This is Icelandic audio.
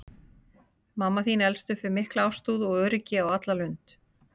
Mamma þín elst upp við mikla ástúð og öryggi á alla lund.